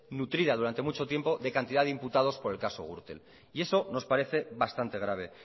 nutrida durante mucho tiempo de cantidad de imputados por el caso gürtel y eso nos parece bastante grave